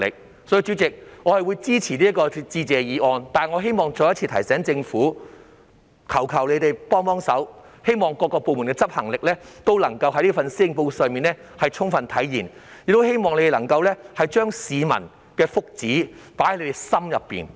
所以，代理主席，我會支持致謝議案，但我希望再一次提醒政府，求求他們幫忙，讓各部門的執行力皆能在這份施政報告上充分體現，我亦十分希望他們能夠將市民的福祉放進心裏。